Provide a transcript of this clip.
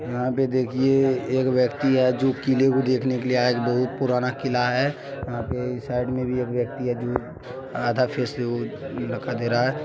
यहाँ पे देखिये एक व्यक्ति है जो किले को देखने के लिए आया है जो बहुत पुराना किला है। यहाँ पे साइड में भी एक व्यक्ति है जो आधा फेस दे रहा है।